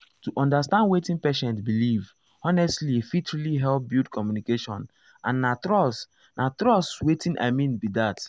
to understand wetin patient believe honestly fit really help build communication and trust na trust na watin i mean be that.